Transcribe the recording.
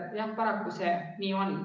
Jah, paraku see nii on.